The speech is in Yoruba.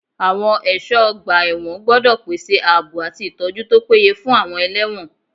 Àwọn ẹ̀ṣọ́ ọgbà ẹ̀wọ̀n gbọ́dọ̀ pèsè ààbò àti ìtọ́jú tó péye fún àwọn ẹlẹ́wọ̀n.